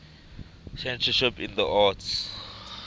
censorship in the arts